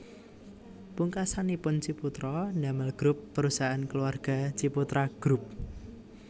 Pungkasanipun Ciputra damel grup perusahaan keluarga Ciputra Group